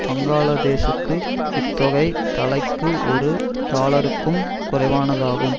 பங்களாதேசுக்கு இத்தொகை தலைக்கு ஒரு டாலருக்கும் குறைவானதாகும்